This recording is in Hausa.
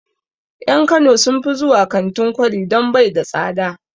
En kano sun fi zuwa kantin kwari don bai da tsada